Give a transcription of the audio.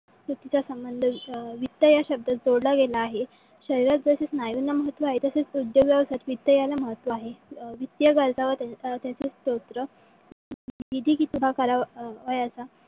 चुकीचा संबंध अं वित्त या शब्दात जोडला गेला आहे. शरीरात जसे स्नायूंना महत्व आहे तसे उद्योग व्यवसायात वित्त याला महत्व आहे. वित्तीय गरजा व अं त्याचे स्त्रोत